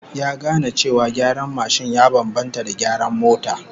Ya gane cewa gyaran mashin ya bambanta da gyaran mota